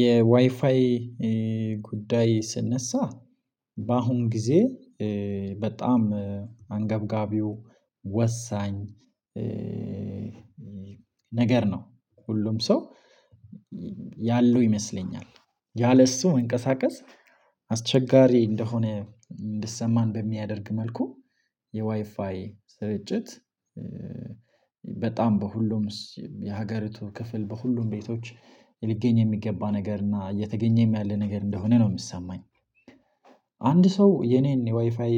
የዋይፋይ ጉዳይ ሲነሳ በአሁን ጊዜ በጣም አንገብጋቢ ወሳኝ ነገር ነው። ሁሉም ሰው ያለው ይመስለኛል። ያለእሱ መንቀሳቀስ አስቸጋሪ እንደሆነ እንዲሰማን በሚያደርግ መልኩ የዋይፋይ ስርጭት በጣም በሁሉም የሀገር ክፍል በሁሉም ቤቶች ሊገኝ የሚገባ ነገር እና እየተገኘም ያለ ነገር እንደሆነ ነው የሚሰማኝ አንድ ሰው የኔን የዋይፋይ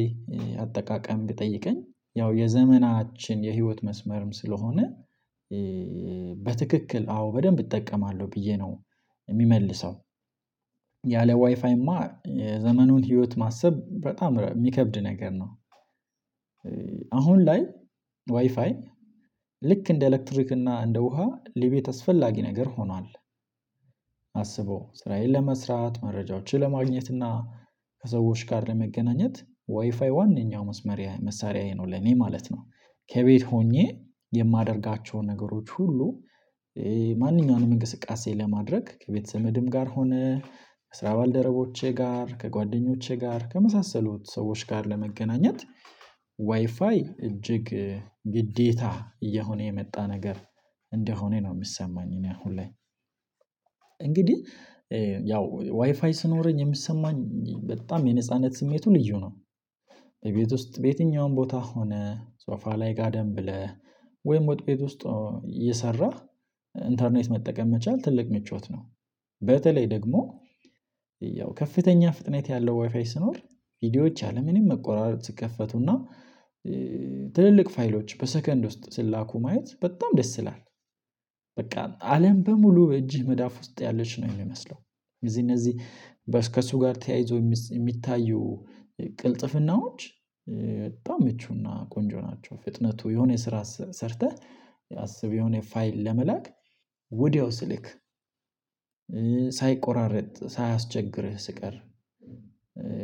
አጠቃቀም ቢጠይቀኝ ያው የዘመናችን የህይወት መስመርም ስለሆነ በትክክ፤ አዎ በደንብ እጠቀማለሁ ብዬ ነው ምመልሰው። ያለ ዋይፋይማ የዘመኑን ህይወት ማሰብ በጣም የሚከብድ ነገር ነው። አሁን ላይ ዋይፋይ ልክ እንደ ኤሌክትሪክ እና እንደ ውሃ ለቤት አስፈላጊ ነገር ሆኗል። አስበው ስራዬን ለመስራት መረጃዎችን ለማግኘት እና ከሰዎች ጋር ለመገናኘት ዋይፋይ ዋነኛው መስመር መሳሪያዬ ነው ለኔ ማለት ነው። ከቤት ሆኜ የማደርጋቸውን ነገሮች ሁሉ ማንኛውንም እንቅስቃሴ ለማድረግ ከቤተሰብም ጋር ሆነ ከስራ ባልደረቦቼ ጋር ከጓደኞቼ ጋር ከመሳሰሉት ሰዎች ጋር ለመገናኘት ዋይፋይ እጅግ ግዴታ እየሆነ የመጣ ነገር እንደሆነ ነው ሚሰማኝ እኔ አሁን ላይ እንግዲህ ያው ዋይፋይ ሲኖረኝ የሚሰማኝ በጣም የነጻነት ስሜቱ ልዩ ነው። ቤት ውስጥ በየትኛውም ቦታ ሆነ ሶፋ ላይ ጋደም ብለህ ወይም ወጥ ቤት ውስጥ እየሰራህ ኢንተርኔት መጠቀም መቻል ትልቅ ምቾት ነው። በተለይ ደግሞ ያው ከፍተኛ ፍጥነት ያለው ዋይፋይ ሲኖር ቪዲዮዎች ያለምንም መቆራረጥ ሲከፈቱና ትልልቅ ፋይሎች በሰከንድ ውስጥ ሲላኩ ማየት በጣም ደስ ይላል። በቃ አለም በሙሉ በእጅህ መዳፍ ውስጥ ያለች ነው ሚመስለው እነዚህ እነዚህ ከእሱ ጋር ተያይዞ የሚታዩ ቅልጥፍናዎች በጣም ምቹና ቆንጆ ናቸው። ፍጥነቱ የሆነ የስራ ሰርተህ አስብ የሆነ ፋይል ለመላክ ወዲያው ሲልክ ሳይቆራረጥ፤ ሳያስቸግርህ ሲቀር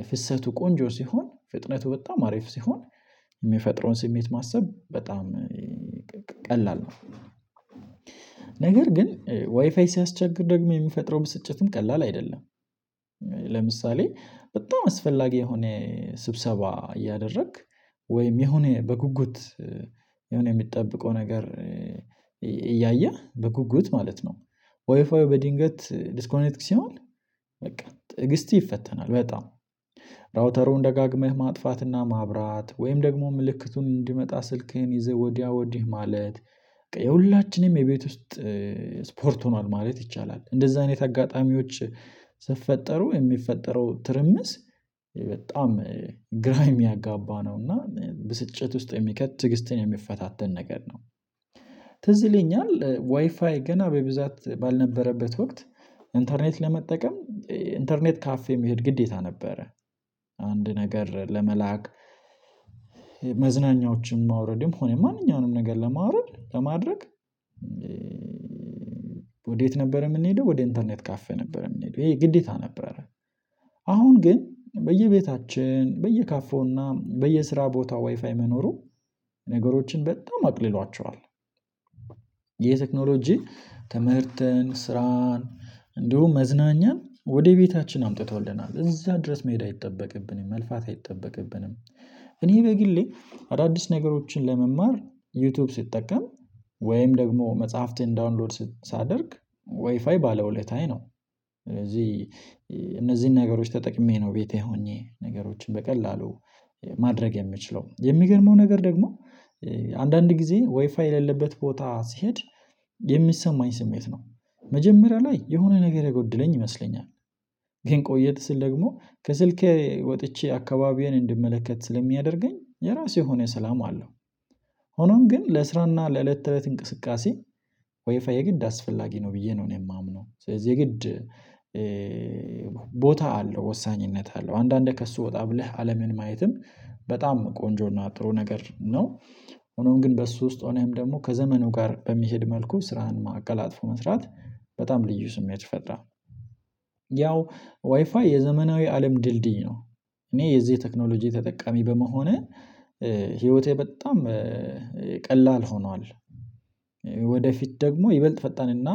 ፍሰቱ ቆንጆ ሲሆን ፍጥነቱ በጣም አሪፍ ሲሆን የሚፈጥረውን ስሜት ማሰብ በጣም ቀላል ነው። ነገር ግን ዋይፋይ ሲያስቸግር ደግሞ የሚፈጥረው ብስጭትም ቀላል አይደለም። ለምሳሌ በጣም አስፈላጊ የሆነ ስብሰባ እያደረክ ወይም የሆነ በጉጉት የሆነ ምጠብቀው ነገር እያየህ በጉጉት ማለት ነው ዋይፋው በድንገት ዲስኮኔትክ ሲሆን በቃ ትግስትህ ይፈተናል በጣም ራውተሩን ደጋግመህ ማጥፋትና ማብራት ወይም ደግሞ ምልክቱን እንዲመጣ ስልክህን ይዘህ ወዲያ ወዲህ ማለት የሁላችንም የቤት ውስጥ ስፖርት ሆኗል ማለት ይቻላል። እንደዛ አይነት አጋጣሚዎች ሲፈጠሩ የሚፈጠረው ትርምስ በጣም ግራ የሚያጋባ ነው። እና ብስጭት ውስጥ የሚከት ትግስትን የሚፈታተን ነገር ነው። ትዝ ይለኛል ዋይፋይ ገና በብዛት ባልነበረበት ወቅት ኢንተርኔት ለመጠቀም ኢንተርኔት ካፌ መሄድ ግዴታ ነበረ። አንድ ነገር ለመላክ መዝናኛዎችም ማውረድም ሆነ ማንኛውንም ነገር ለማውረድ ለማድረግ ወዴት ነበር የምንሄደው ወደ ኢንተርኔት ካፌ ነበረ የምንሄደው ይሄ ግዴታ ነበረ። አሁን ግን በየቤታችን በየካፌውና በየስራ ቦታ ዋይፋይ መኖሩ ነገሮችን በጣም አቅልሏቸዋል። የቴክኖሎጂ ትምህርትን፣ ስራን እንዲሁም መዝናኛን ወደ ቤታችን አምጥቶልናል። እዛ ድረስ መሄድ አይጠበቅብን፤ መልፋት አይጠበቅብንም። እኔ በግሌ አዳዲስ ነገሮችን ለመማር ዩቲዩብ ስጠቀም ወይም ደግሞ መጽሐፍትን ዳውንሎድ ሳደርግ ዋይፋይ ባለውለታዬ ነው። እዚህ እነዚህን ነገሮች ተጠቅሜ ነው ቤቴ ሆኜ ነገሮችን በቀላሉ ማድረግ የምችለው የሚገርመው ነገር ደግሞ አንዳንድ ጊዜ ወይፋይ የሌለበት ቦታ ስሄድ የሚሰማኝ ስሜት ነው። መጀመሪያ ላይ የሆነ ነገር የጎደለኝ ይመስለኛል። ግን ቆየት ስል ደግሞ ከስልኬ ወጥቼ አካባቢዬን እንድመለከት ስለሚያደርገኝ የራሴ የሆነ ሰላም አለው። ሆኖም ግን ለስራና ለእለት ተእለት እንቅስቃሴ ወይፋይ የግድ አስፈላጊ ነው ብዬ ነው። እኔ የማምነው ስለዚህ የግድ ቦታ አለው ወሳኝነት አለው አንዳንዴ ከእሱ ወጣ ብለህ አለምን ማየትም በጣም ቆንጆና ጥሩ ነገር ነው። ሆኖም ግን በሱ ውስጥ ሆኖም ደግሞ ከዘመኑ ጋር በሚሄድ መልኩ ስራህን ማቀላጠፍ መስራት በጣም ልዩ ስሜት ይፈጥራል። ያው ዋይፋይ የዘመናዊ አለም ድልድይ ነው። እኔ የዚህ ቴክኖሎጂ ተጠቃሚ በመሆኔ ህይወቴ በጣም ቀላል ሆኗል። ወደፊት ደግሞ ይበልጥ ፈጣንና